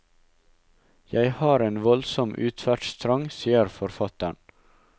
Jeg har en voldsom utferdstrang, sier forfatteren.